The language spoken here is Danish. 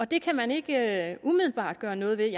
det kan man ikke umiddelbart gøre noget ved